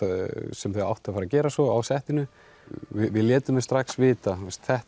sem þau áttu að fara að gera svo á settinu við létum þau strax vita